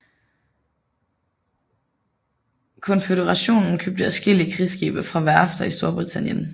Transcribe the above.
Konføderationen købte adskillige krigsskibe fra værfter i Storbritannien